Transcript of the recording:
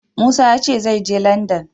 Musa ya ce zai je Landan.